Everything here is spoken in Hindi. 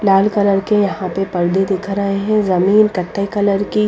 लाल कलर के यहां पे पडदे दिख रहे हैं जमीन कट्टे कलर की--